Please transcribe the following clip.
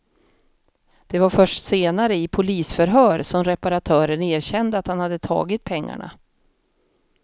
Det var först senare, i polisförhör, som reparatören erkände att han hade tagit pengarna.